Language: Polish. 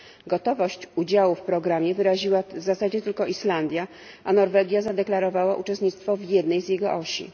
Gotowość udziału w programie wyraziła w zasadzie tylko Islandia, a Norwegia zadeklarowała uczestnictwo w jednej z jego osi.